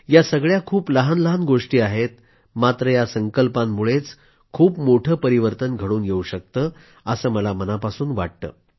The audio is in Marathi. या सगळ्या खूप लहानलहान गोष्टी आहेत मात्र या संकल्पांमुळेच खूप मोठे परिवर्तन घडून येवू शकतं असं मला मनापासून वाटतं